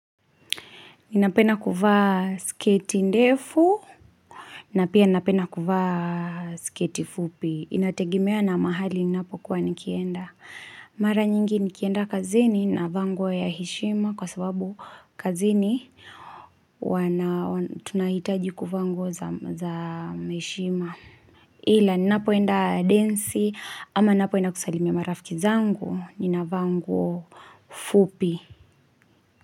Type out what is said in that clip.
Ninapena kuvaa sketi ndefu, na pia ninapenda kuvaa sketi fupi. Inategimea na mahali ninapokuwa nikienda. Mara nyingi nikienda kazini na vangwa ya hishima kwa sababu kazini tunahitaji ku vangwa za heshima. Hila ninapoenda densi ama ninapoenda kusalimia marafiki zangu nina vaa nguo fupi.